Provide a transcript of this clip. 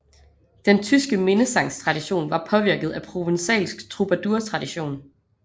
Den tyske minnesangstradition var påvirket af provençalsk trubadurtradition